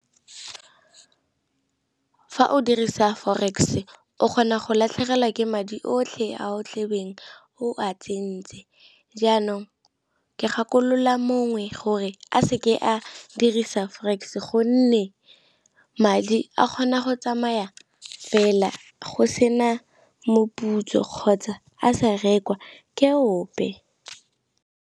Fa o dirisa forex o kgona go latlhegelwa ke madi otlhe a o tlabeng o a tsentse, jaanong ke gakolola mongwe gore a seke a dirisa forex gonne madi a kgona go tsamaya fela, go sena moputso kgotsa a sa rekwa ke ope.